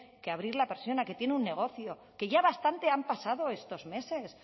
que abrir la persiana que tiene un negocio que ya bastante han pasado estos meses